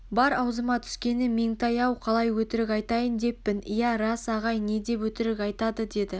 бар аузыма түскені меңтай-ау қалай өтірік айтайын деппін иә рас ағай не деп өтірік айтады деді